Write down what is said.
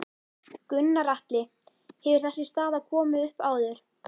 Gunnar Atli: Hefur þessi staða komið upp áður?